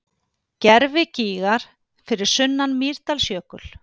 Gervigígar fyrir sunnan Mýrdalsjökul.